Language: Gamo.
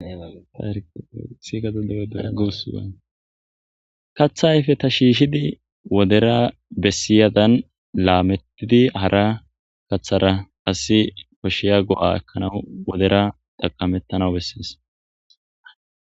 aadsakaththa ayfe ta shiishidi wodera bessiyadan laamettidi hara kaththara asi kosheya go7a ekkanawu wodera taqamettanawu bessees